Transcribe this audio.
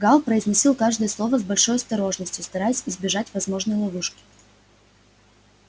гаал произносил каждое слово с большой осторожностью стараясь избежать возможной ловушки